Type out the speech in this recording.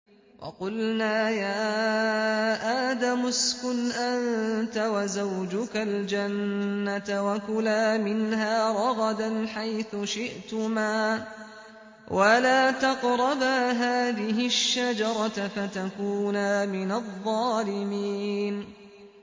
وَقُلْنَا يَا آدَمُ اسْكُنْ أَنتَ وَزَوْجُكَ الْجَنَّةَ وَكُلَا مِنْهَا رَغَدًا حَيْثُ شِئْتُمَا وَلَا تَقْرَبَا هَٰذِهِ الشَّجَرَةَ فَتَكُونَا مِنَ الظَّالِمِينَ